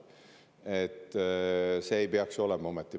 Aga see ei peaks ju ometi olema ajend.